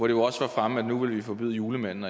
jo også var fremme at nu ville vi forbyde julemanden